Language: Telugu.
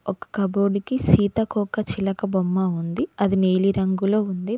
ఒక కబోర్డ్ కి సీతకోక చిలక బొమ్మ ఉంది అది నీలిరంగులో ఉంది.